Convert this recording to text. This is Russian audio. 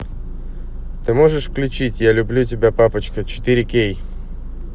ты можешь включить я люблю тебя папочка четыре кей